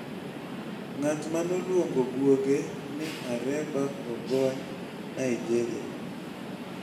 Ng'at ma noluongo guoge ni Areba ogony Nigeria